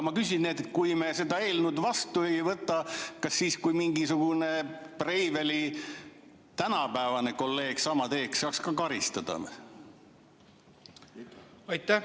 Ma küsin: kui me seda eelnõu vastu ei võta, kas siis, kui mingisugune Breiveli tänapäevane kolleeg sama teeks, saaks ta ka karistada või?